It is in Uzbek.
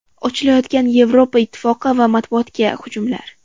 Ochilayotgan Yevropa Ittifoqi va matbuotga hujumlar.